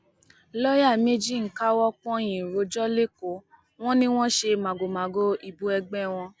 lọọyà méjì ń káwọ pọnyìn rojọ lẹkọọ wọn ni wọn ṣe màgòmágó ìbò ẹgbẹ wọn